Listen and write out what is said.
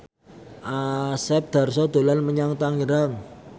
Asep Darso dolan menyang Tangerang